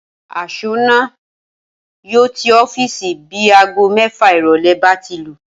As̩ó̩nà náà yóò tí ó̩fíìsì bí aago mé̩fà ìrò̩lé̩ bá ti lù